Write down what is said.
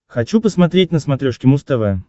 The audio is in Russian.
хочу посмотреть на смотрешке муз тв